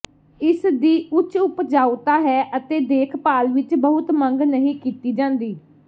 ਇਸ ਦੀ ਉੱਚ ਉਪਜਾਊਤਾ ਹੈ ਅਤੇ ਦੇਖਭਾਲ ਵਿਚ ਬਹੁਤ ਮੰਗ ਨਹੀਂ ਕੀਤੀ ਜਾਂਦੀ